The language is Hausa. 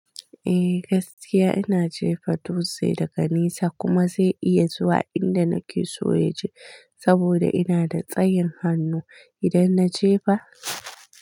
Eh gaskiya ina jefa dutse daga nesa kuma zai iya zuwa inda nake so ya je saboda ina da tsayin hannu idan na je fa.